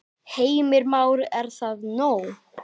Heimir Már: Er það nóg?